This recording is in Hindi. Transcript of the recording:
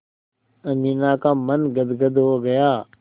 अमीना का मन गदगद हो गया